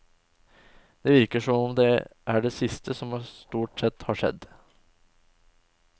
Det virker som om det er det siste som stort sett har skjedd.